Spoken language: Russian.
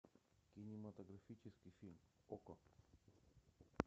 кинематографический фильм окко